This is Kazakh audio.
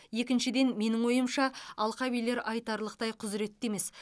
екіншіден менің ойымша алқабилер айтарлықтай құзыретті емес